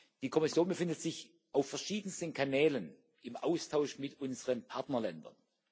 Die Kommission befindet sich auf verschiedensten Kanälen im Austausch mit unseren Partnerländern.